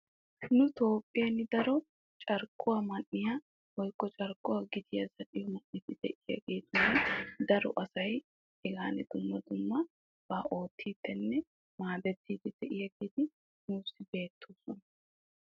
Beni toophiyan daro carkkuwa zal'iyan maadettiyagettinne oottiyagetti keehi beettokkonna. Ha'i qassi aakki aakki biide dees.